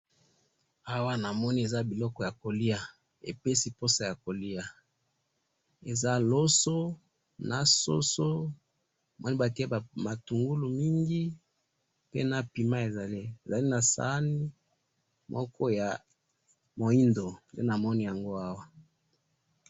awa namoni eza biloko ya kolya epesi pusa ya kolya eza loso, na ssoso, batiye matungu mingi pe na pima ezali ezali na sahane moko ya moyindo namoni yango awa